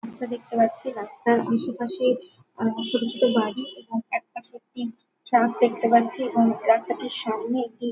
রাস্তা দেখতে পাচ্ছি রাস্তার আশেপাশে অনেকরকম ছোট ছোট বাড়ি এবং একটা সত্যি সাপ দেখতে পাচ্ছি এবং রাস্তাটির সামনে একটি--